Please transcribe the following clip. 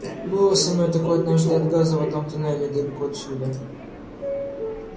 было со мной такое однажды от газа в одном туннеле далеко отсюда